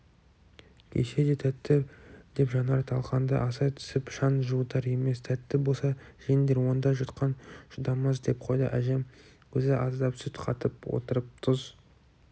күйсе де тәтті деп жанар талқанды асай түсіп шаң жуытар емес тәтті болса жеңдер онда жұтқан жұтамас деп қойды әжем өзі аздап сүт қатып отырып тұз